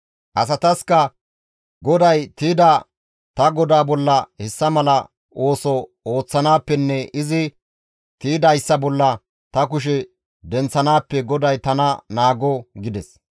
Asataskka, «GODAY tiyda ta godaa bolla hessa mala ooso ooththanaappenne izi tiydayssa bolla ta kushe denththanaappe GODAY tana naago» gides.